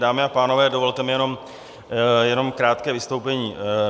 Dámy a pánové, dovolte mi jenom krátké vystoupení.